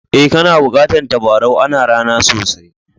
Eh, kana bukatan tabarau. Ana ra'na sosai.